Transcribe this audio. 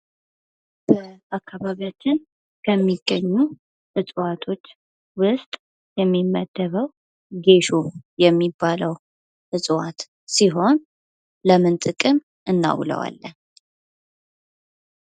በአካባቢያችን ከሚገኙ እፅዋቶች ውስጥ የሚመደበው ጌሾ የሚባለው እጽዋት ሲሆን ለምን ጥቅም እናውለዋለን?